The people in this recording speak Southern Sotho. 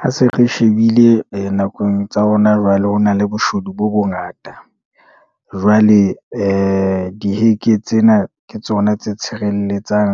Ha se re shebile nakong tsa hona jwale ho na le boshodu bo bongata. Jwale diheke tsena ke tsona tse tshirelletsang